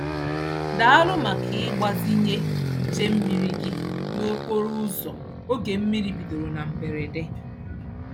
Daalụ maka ịgbazinye nche mmiri gị n'okporoụzọ oge mmiri bidoro na mberede.